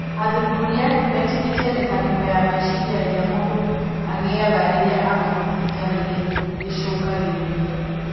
Athuthuria metĩkitie mĩtangĩko ya meciria ĩrĩa mũndũ agĩaga rĩrĩa agũthiĩ thibitarĩ nĩ ĩcũngagĩrĩria